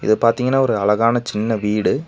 பாத்தீங்கன்னா ஒரு அழகான சின்ன வீடு.